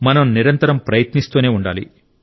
మనం నిరంతరం ప్రయత్నిస్తూనే ఉండాలి